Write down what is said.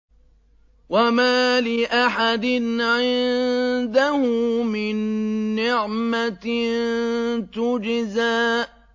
وَمَا لِأَحَدٍ عِندَهُ مِن نِّعْمَةٍ تُجْزَىٰ